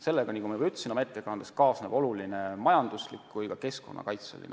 Sellega, nagu ma oma ettekandes juba ütlesin, kaasneb oluline oht nii majandusele kui ka keskkonnale tervikuna.